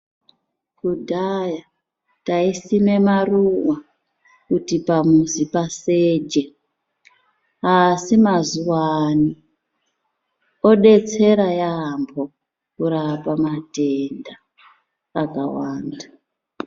Kudhaya, taisime maruwa kuti pamuzi paseje, asi mazuwaano ,odetsera yaampho, kurapa matenda akawanda .